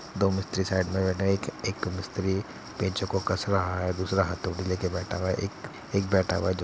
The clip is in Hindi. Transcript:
दो मिस्त्री साइड मे बैठे है। एक मिस्त्री पेंचों को कस रहा है दूसरा हथोड़ी लेके बैठा हुआ है। एक एक बैठा हुआ है जो --